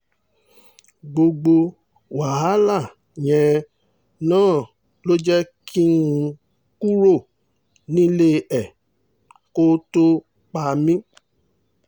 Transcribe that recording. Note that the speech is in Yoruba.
gbogbo wàhálà yẹn náà ló jẹ́ kí n kúrò nílé ẹ kó tóó pa mí